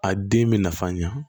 A den bɛ nafa ɲɛ